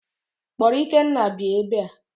Kpọrọ Ikenna bịa ebea!